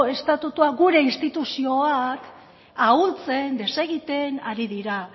estatutua gure instituzioak ahultzen desegiten ari dira